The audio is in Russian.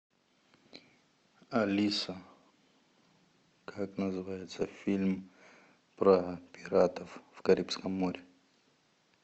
алиса как называется фильм про пиратов в карибском море